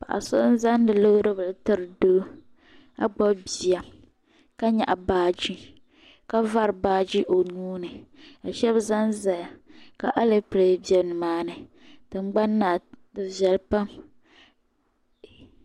Paɣa so n-zaŋdi loori bila tiri doo ka gbubi bia ka nyaɣi baaji ka vari baaji o nuu ni ka shɛba zanzaya ka alepile be nimaani tingbani maa di viɛli pam.